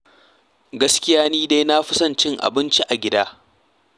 Gaskiya dai ni na fi son in ci abincin gida.